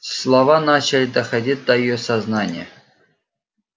слова начали доходить до её сознания